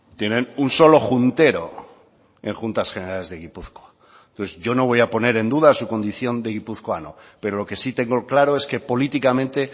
tienen un solo juntero en juntas generales de gipuzkoa entonces yo no voy a poner en duda su condición de guipuzcoano pero lo que sí tengo claro es que políticamente